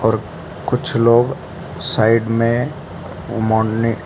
और कुछ लोग साइड में --